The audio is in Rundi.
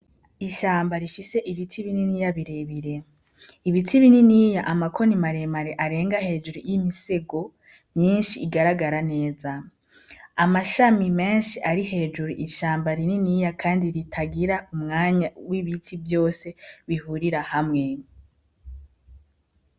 Ishamba Rifise Ibiti Bininiya Birebire: Ibiti Bininiya Amakoni Maremare Arenga Hejuru Y'Imisego, Myinshi Igaragara Neza. Amashami Menshi Ari Hejuru, Ishamba Rininiya Kandi Ritagira Umwanya W'Ibiti Vyose Bihurira Hamwe.